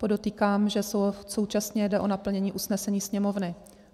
Podotýkám, že současně jde o naplnění usnesení Sněmovny.